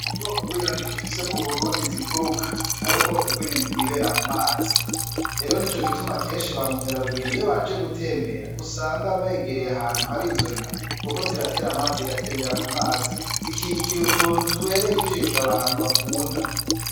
Mu bwoko bw'inyoni dufise mu burundi ziguruka hariho ubwoko bw'inyoni bwibera mu mazi ero ni co gituma kenshi bamukera rugendo iyo baje gutembera usanga begereye ahantu hari izo nyoni, kuko ziratera amazi igatembera ku mazi zikigira utuntu tubereye ijisha abantu bakunda.